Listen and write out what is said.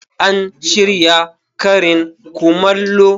An shirya karin kumallo.